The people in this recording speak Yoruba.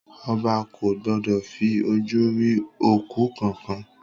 Ọba ko gbọdọ̀ fi ojú rí òkú kankan.